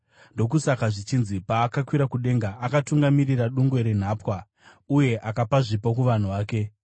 Ndokusaka zvichinzi: “Paakakwira kudenga, akatungamirira dungwe renhapwa uye akapa zvipo kuvanhu vake.”